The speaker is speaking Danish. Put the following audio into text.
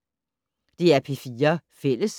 DR P4 Fælles